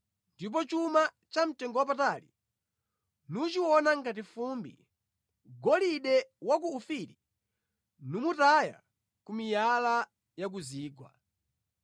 ndipo chuma chamtengowapatali nuchiona ngati fumbi, golide wa ku Ofiri numutaya ku miyala ya ku zigwa.